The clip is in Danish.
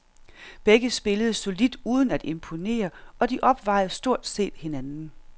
Begge spillede solidt uden at imponere, og de opvejede stort set hinanden.